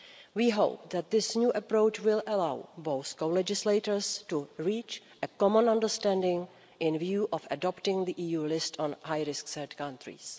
We hope that this new approach will allow both co legislators to reach a common understanding with a view to adopting the EU list on high risk third countries.